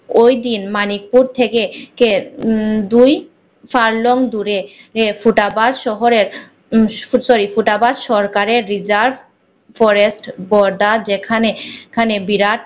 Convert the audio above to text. ওই দিন মানিকপুর থেকে কে উম দুই ফাল long দূরে ফুটাবাজ শহরের উহ sorry ফুটাবাজ সরকারে hijab forest বড়া যেখানে যেখানে বিরাজ